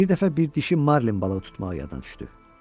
Bir dəfə bir dişi marlin balığı tutmağı yada düşdü.